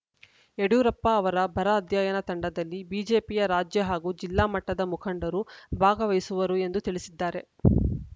ಯಡಿಯೂರಪ್ಪ ಅವರ ಬರ ಅಧ್ಯಯನ ತಂಡದಲ್ಲಿ ಬಿಜೆಪಿಯ ರಾಜ್ಯ ಹಾಗೂ ಜಿಲ್ಲಾಮಟ್ಟದ ಮುಖಂಡರು ಭಾಗವಹಿಸುವರು ಎಂದು ತಿಳಿಸಿದ್ದಾರೆ